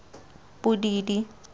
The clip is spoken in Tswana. bodidi